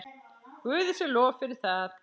Guði sé lof fyrir það.